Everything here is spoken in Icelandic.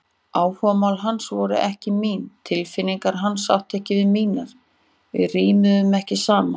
Áhugamál hans voru ekki mín, tilfinningar hans áttu ekki við mínar, við rímuðum ekki saman.